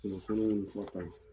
filanan minnu bɛ